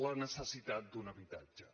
la necessitat d’un habitatge